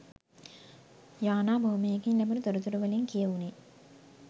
යානා බොහොමයකින් ලැබුණු තොරතුරු වලින් කියැවුණේ